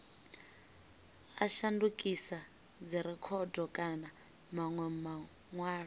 a shandukisa dzirekhodo kana manwe manwalo